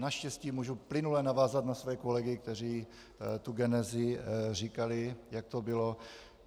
Naštěstí můžu plynule navázat na své kolegy, kteří tu genezi říkali, jak to bylo.